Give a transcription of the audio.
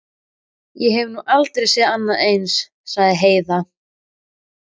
Ég hef nú aldrei séð annað eins, sagði Heiða.